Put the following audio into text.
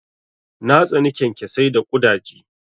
Na tsani kyankyasai da ƙudaje.